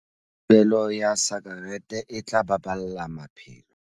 Thibelo ya sakerete e tla baballa maphelo.